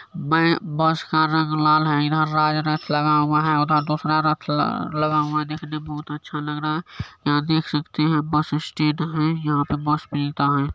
मैं बस का रंग लाल है इधर राज रथ लगा हुआ हैउधर दोसरा रथ ल लगा हुआ है देखने में बहोत अच्छा लग रहा है यहा देख सकते है बसस्टैंड है यहां पे बस मिलता है।